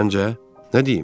Səncə, nə deyim?